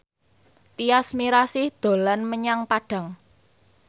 Tyas Mirasih dolan menyang Padang